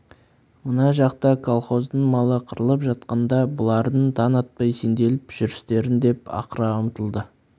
мына жақта колхоздың малы қырылып жатқанда бұлардың таң атпай сенделіп жүрістерін деп ақыра ұмтылды